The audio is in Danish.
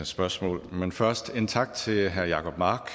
spørgsmål men først en tak til herre jacob mark